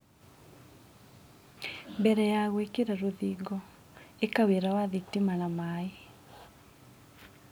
Mbere ya gũĩkĩra rũthingo, ĩka wĩra wa thitima na maaĩ.